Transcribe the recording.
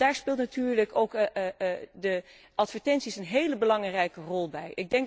Daar spelen natuurlijk ook de advertenties een heel belangrijke rol bij.